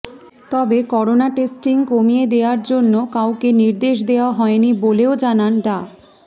তবে corona testing কমিয়ে দেয়ার জন্য কাউকে নির্দেশ দেয়া হয়নি বলেও জানান ডা